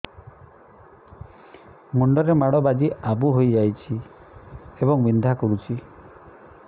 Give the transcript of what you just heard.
ମୁଣ୍ଡ ରେ ମାଡ ବାଜି ଆବୁ ହଇଯାଇଛି ଏବଂ ବିନ୍ଧା କରୁଛି